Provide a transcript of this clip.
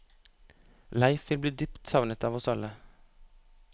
Leif vil bli dypt savnet av oss alle.